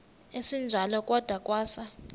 esinjalo kwada kwasa